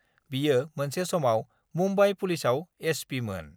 बियो मोनसे समआव मुम्बाइ पुलिसआव एसपिमोन।